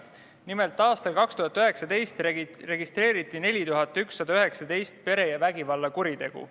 Nimelt, aastal 2019 registreeriti 4119 perevägivalla kuritegu.